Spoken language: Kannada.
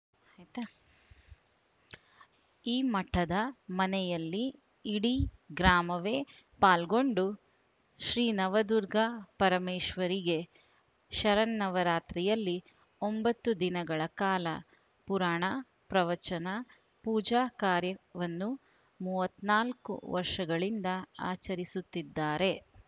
ಆಯಿತಾ ಈ ಮಠದ ಮನೆಯಲ್ಲಿ ಇಡೀ ಗ್ರಾಮವೇ ಪಾಲ್ಗೊಂಡು ಶ್ರೀನವದುರ್ಗ ಪರಮೇಶ್ವರಿಗೆ ಶರನ್ನವರಾತ್ರಿಯಲ್ಲಿ ಒಂಬತ್ತು ದಿನಗಳ ಕಾಲ ಪುರಾಣ ಪ್ರವಚನ ಪೂಜಾ ಕಾರ್ಯವನ್ನು ಮೂವತ್ತ್ ನಾಲ್ಕು ವರ್ಷಗಳಿಂದ ಆಚರಿಸುತ್ತಿದ್ದಾರೆ